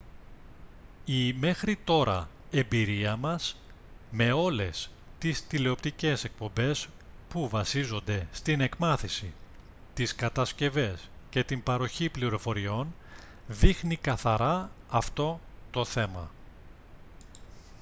η μέχρι τώρα εμπειρία μας με όλες τις τηλεοπτικές εκπομπές που βασίζονται στην εκμάθηση τις κατασκευές και την παροχή πληροφοριών δείχνει καθαρά αυτό το θέμα